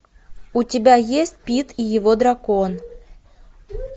у тебя есть пит и его дракон